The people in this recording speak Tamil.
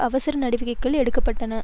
அவசர நடவடிக்கைகள் எடுக்க பட்டன